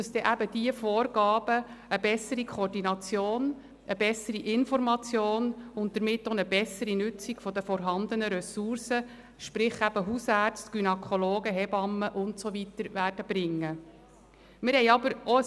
Wir hoffen, dass diese Vorgaben eine bessere Koordination, eine bessere Information und damit eine bessere Nutzung der vorhandenen Ressourcen – sprich Hausärzte, Gynäkologen, Hebammen und so weiter – bringen werden.